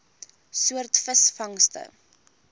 soort visvangste